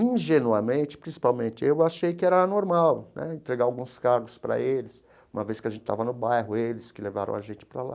Ingenuamente, principalmente, eu achei que era normal né entregar alguns cargos para eles, uma vez que a gente estava no bairro, eles que levaram a gente para lá.